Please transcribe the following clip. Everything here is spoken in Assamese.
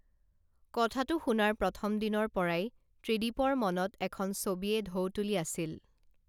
কথাটো শুনাৰ প্ৰথম দিনৰ পৰাই ত্ৰিদীপৰ মনত এখন ছবিয়ে ঢৌ তুলি আছিল